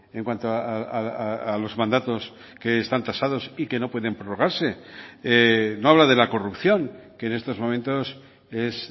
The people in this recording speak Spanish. en cuanto a los mandatos que están tasados y que no pueden prolongarse no habla de la corrupción que en estos momentos es